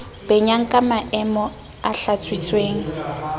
benyang ka meomo e hlatswitsweng